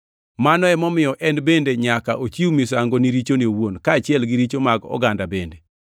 Mano emomiyo en bende nyaka ochiw misango ni richone owuon, kaachiel gi richo mag oganda bende.